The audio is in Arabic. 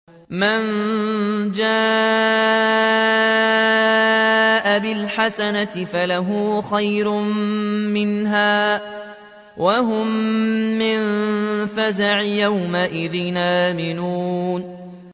مَن جَاءَ بِالْحَسَنَةِ فَلَهُ خَيْرٌ مِّنْهَا وَهُم مِّن فَزَعٍ يَوْمَئِذٍ آمِنُونَ